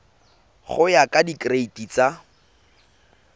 go ya ka direiti tsa